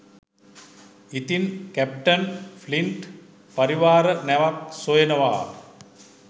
ඉතින් captain Flint පරිවාර නැවක් සොයනවා